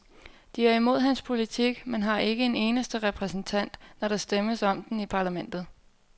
De er imod hans politik, men har ikke en eneste repræsentant, når der stemmes om den i parlamentet.